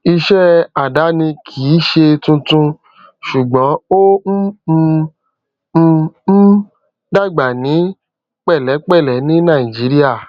iṣẹ àdáni kì í ṣe tuntun ṣùgbọn ó ń um ń um dàgbà ní pẹlẹpẹlẹ ní nàìjíríà